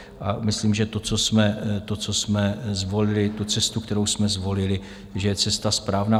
A myslím, že to, co jsme zvolili, tu cestu, kterou jsme zvolili, že je cesta správná.